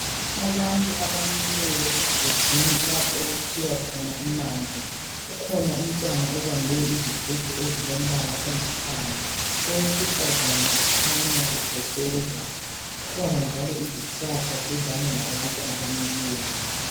Abantu abamileyo emgodini lapha okukhiwa khona amanzi. Kukhona umntwana obambe izigubhu ezilombala olithanga. Owesifazana ukhanya ekotshoza. Kukhona njalo izihlahla eduzane labantu abamileyo..